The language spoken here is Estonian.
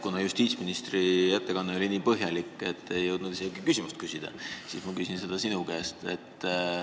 Kuna justiitsministri ettekanne oli nii põhjalik ja kiire, et ei jõudnud isegi küsimust küsida, siis ma küsin seda sinu käest.